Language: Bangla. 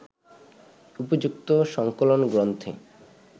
উপযুক্ত সংকলন গ্রন্থে